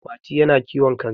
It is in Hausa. Mati yana kiwon kare